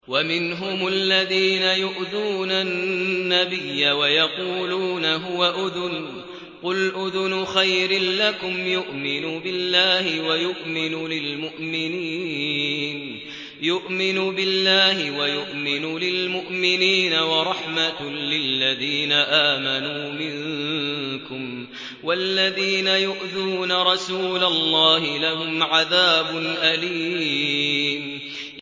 وَمِنْهُمُ الَّذِينَ يُؤْذُونَ النَّبِيَّ وَيَقُولُونَ هُوَ أُذُنٌ ۚ قُلْ أُذُنُ خَيْرٍ لَّكُمْ يُؤْمِنُ بِاللَّهِ وَيُؤْمِنُ لِلْمُؤْمِنِينَ وَرَحْمَةٌ لِّلَّذِينَ آمَنُوا مِنكُمْ ۚ وَالَّذِينَ يُؤْذُونَ رَسُولَ اللَّهِ لَهُمْ عَذَابٌ أَلِيمٌ